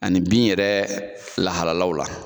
Ani bin yɛrɛ lahalalaw la.